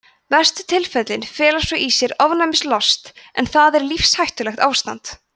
verstu tilfellin fela svo í sér ofnæmislost en það er lífshættulegt ástand